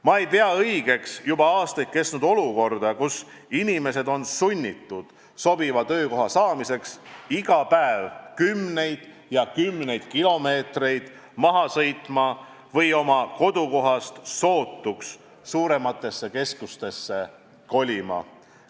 Ma ei pea normaalseks juba aastaid kestnud olukorda, kus inimesed on sunnitud leiva teenimiseks iga päev kümneid ja kümneid kilomeetreid maha sõitma või sobiva töökoha saamiseks kodukohast mõnda suuremasse keskusesse kolima.